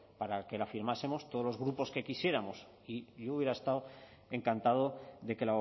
para que la firmásemos todos los grupos que quisiéramos y yo hubiera estado encantado de que